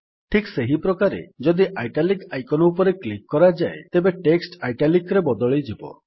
ଠିକ୍ ସେହିପ୍ରକାରେ ଯଦି ଇଟାଲିକ୍ ଆଇକନ୍ ଉପରେ କ୍ଲିକ୍ କରାଯାଏ ତେବେ ଟେକ୍ସଟ୍ Italicରେ ବଦଳିଯିବ